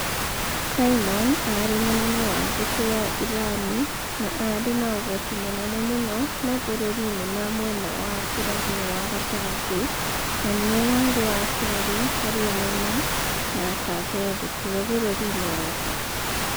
Simon aarĩ mũnene wa mbũtũ ya Irani, na aarĩ na ũhoti mũnene mũno mabũrũri-inĩ ma mwena wa irathĩro wa gatagatĩ, na nĩ we warĩ wa kerĩ harĩ ũnene na akaheo gĩtĩo bũrũri-inĩ wake.